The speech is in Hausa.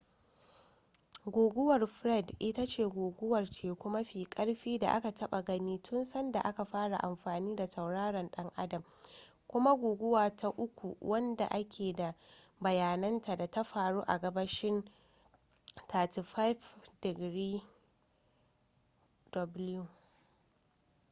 guguwar fred ita ce guguwar teku mafi karfi da aka taba gani tun sanda aka fara amfani da tauraron dan adam kuma guguwa ta uku wadda ake da bayananta da ta faru a gabashin 35°w